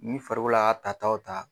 Ni farikolola ka ta taw ta.